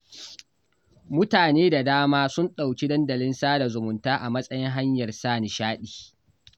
Mutane da dama sun ɗauki dandalin sada zumunta a matsayin hanyar sa nishaɗi